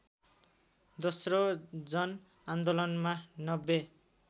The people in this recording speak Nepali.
दोस्रो जनआन्दोलनमा ९०